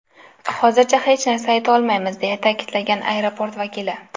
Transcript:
Hozircha hech narsa ayta olmaymiz”, deya ta’kidlagan aeroport vakili.